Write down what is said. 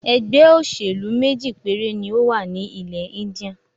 ẹgbẹ́-òsèlú méjì péré ni ó wà ní ilẹ̀-Íńdíà.